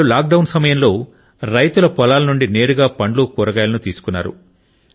వారు లాక్డౌన్ సమయంలో రైతుల పొలాల నుండి నేరుగా పండ్లు కూరగాయలను తీసుకున్నారు